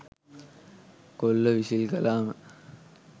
කොල්ලො විසිල් කලාම